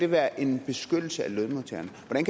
være en beskyttelse af lønmodtageren at man